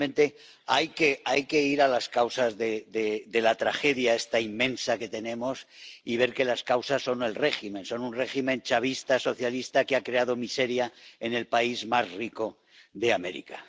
Realmente, hay que ir a las causas de la tragedia ―esta tragedia inmensa que tenemos― y ver que las causas son el régimen, son un régimen chavista socialista que ha creado miseria en el país más rico de América.